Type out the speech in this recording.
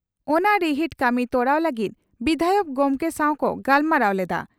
ᱚᱱᱟ ᱨᱤᱦᱤᱴ ᱠᱟᱹᱢᱤ ᱛᱚᱨᱟᱣ ᱞᱟᱹᱜᱤᱫ ᱵᱤᱫᱷᱟᱭᱚᱠ ᱜᱚᱢᱠᱮ ᱥᱟᱣ ᱠᱚ ᱜᱟᱞᱢᱟᱨᱟᱣ ᱞᱮᱫᱼᱟ ᱾